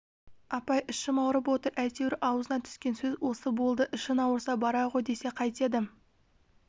апай ішім ауырып отыр әйтеуір аузына түскен сөз осы болды ішің ауырса бара ғой десе қайтеді